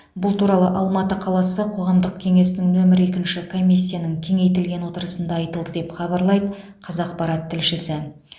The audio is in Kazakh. бұл туралы алматы қаласы қоғамдық кеңесінің нөмір екінші комиссияның кеңейтілген отырысында айтылды деп хабарлайды қазақпарат тілшісі